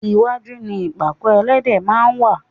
iwájú ni ìpàkọ́ ẹlẹ́dẹ̀ máa ń wá.